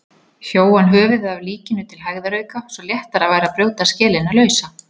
Hjó hann höfuðið af líkinu til hægðarauka svo léttara væri að brjóta skelina lausa.